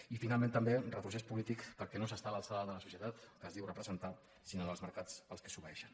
i finalment també retrocés polític perquè no s’està a l’alçada de la societat que es diu representar sinó dels mercats als quals s’obeeixen